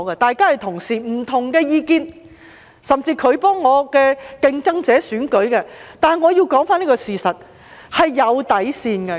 大家是同事，有不同的意見，他甚至替我的競爭者助選，但我要說出一個事實，是有底線的。